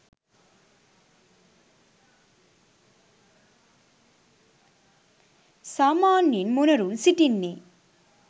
සාමාන්‍යයෙන් මොණරුන් සිටින්නේ